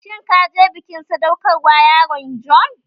Shin ka je bikin sadaukar wa yaron John?